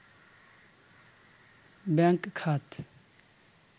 bank খাত